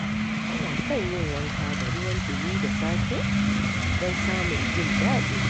Ina son yin wanka da ruwan ɗumi da safiya don samun jin daɗi.